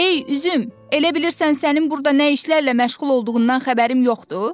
Ey Üzüm, elə bilirsən sənin burada nə işlərlə məşğul olduğundan xəbərim yoxdur?